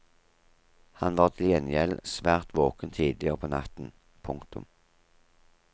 Han var til gjengjeld svært våken tidligere på natten. punktum